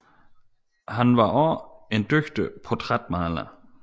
Han var også en dygtig portrætmaler